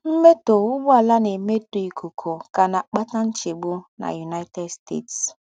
Mmẹ́tọ́ úgbọ̀àlà ná-èmétọ́ íkúkú kà ná-àkpátà ńchègbù na United States.